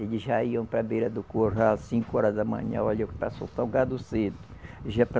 Eles já iam para a beira do curral, cinco horas da manhã, olha para soltar o gado cedo. Já para